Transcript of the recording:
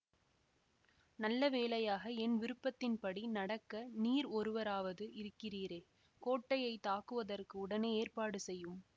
நல்லவேளையாக என் விருப்பத்தின்படி நடக்க நீர் ஒருவராவது இருக்கிறீரே கோட்டையை தாக்குவதற்கு உடனே ஏற்பாடு செய்யும்